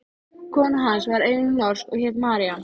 Þriðji bróðirinn, Jón, bjó líka í Eskifjarðarseli.